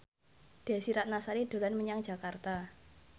Desy Ratnasari dolan menyang Jakarta